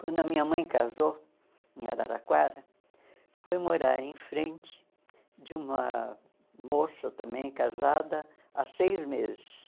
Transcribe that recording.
Quando a minha mãe casou em Araraquara, foi morar em frente de uma moça também casada há seis meses.